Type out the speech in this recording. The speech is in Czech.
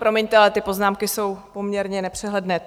Promiňte, ale ty poznámky jsou poměrně nepřehledné.